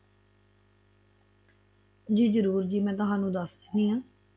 ਜੀ ਜਰੂਰ ਜੀ ਮੈ ਤੁਹਾਨੂੰ ਦੱਸ ਦੇਣੀ ਆ